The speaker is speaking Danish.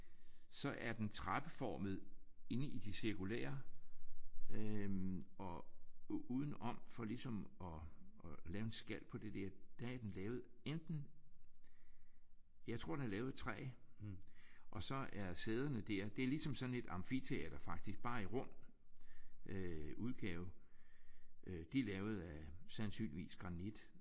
Så er den trappeformet indeni det cirkulære øh og udenom for ligesom at lave en skal på det der. Der er den lavet enten jeg tror den er lavet i træ og så er sæderne dér det er ligesom sådan et amfiteater der bare i mere rå øh udgave de er lavet af sandsynligvis granit